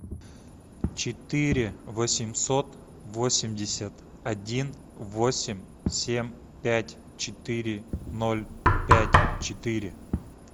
четыре восемьсот восемьдесят один восемь семь пять четыре ноль пять четыре